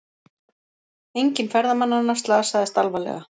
Enginn ferðamannanna slasaðist alvarlega